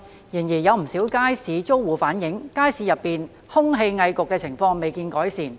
然而，有不少街市租戶反映，街市內空氣翳焗的情況未見改善。